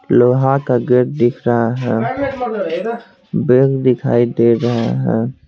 लोहा का गेट दिख रहा है वेग दिखाई दे रही है।